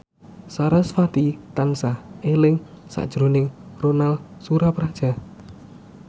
sarasvati tansah eling sakjroning Ronal Surapradja